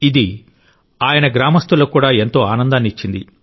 ఇది ఆయన గ్రామస్తులకు కూడా ఎంతో ఆనందాన్ని ఇచ్చింది